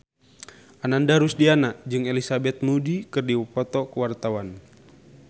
Ananda Rusdiana jeung Elizabeth Moody keur dipoto ku wartawan